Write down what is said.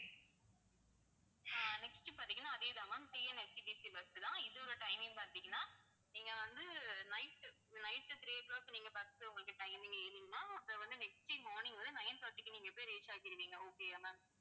ஆஹ் next பாத்தீங்கன்னா அதே தான் ma'amTNSTCbus தான். இதோட timing பாத்தீங்கன்னா நீங்க வந்து night, night three o'clock நீங்க bus உங்களுக்கு timing அது வந்து next day morning வந்து nine thirty க்கு நீங்க போய் reach ஆகிருவீங்க okay யா ma'am